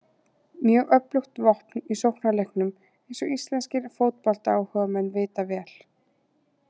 Mjög öflugt vopn í sóknarleiknum eins og íslenskir fótboltaáhugamenn vita vel.